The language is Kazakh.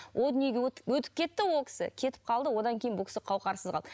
ол дүниеге өтіп кетті ол кісі кетіп қалды одан кейін бұл кісі қауһарсыз қалды